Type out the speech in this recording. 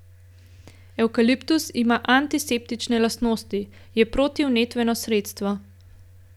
Evkaliptus ima antiseptične lastnosti, je protivnetno sredstvo.